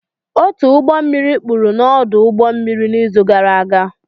Otu ụgbọ mmiri kpuru n'ọdụ ụgbọ mmiri n'izu gara aga